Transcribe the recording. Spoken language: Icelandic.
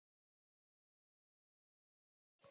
Nú hefur þetta jafnað sig.